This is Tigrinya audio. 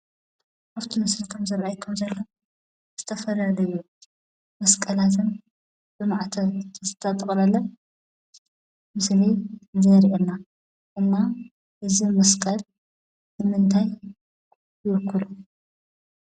ኣብ እቲ ምስሊ ከም ዝረአየኩም ዘሎ ዝተፈላለዩ መስቀላትን ብማዕተብ ዝተጠቕለለ ምስሊ ዘሪኤና፡፡ እና እዚ መስቀል ንምንታይ ይውክሉ?